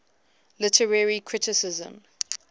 literary criticism